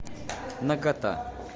нагота